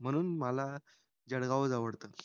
म्हणून ना जळगावंच आवडतो